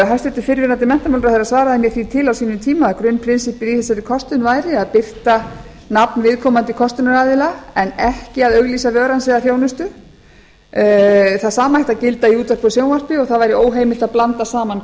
hæstvirtur fyrrverandi menntamálaráðherra svaraði mér því til á sínum tíma að grunnprinsippið í þessari kostun væri að birta nafn viðkomandi kostunaraðila en ekki auglýsa vöru hans eða þjónustu það sama ætti að gilda í útvarpi og sjónvarpi og það væri óþarfi að blanda saman